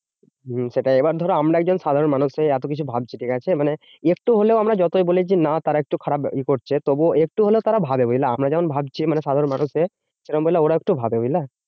হম সেটাই এবার ধরো আমরা একজন সাধারণ মানুষ হয়ে এতকিছু ভাবছি ঠিকাছে? মানে একটু হলেও আমরা যতই বলি যে না তারা একটু খারাপ ই করছে তবুও একটু হলেও তারা ভাবে, বুঝলা? আমরা যেমন ভাবছি মানে সাধারণ মানুষের। সেরম বুঝলে ওরাও একটু ভাবে বুঝলা?